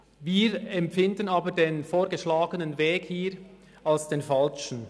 Wir empfinden aber den hier vorgeschlagenen Weg als falsch.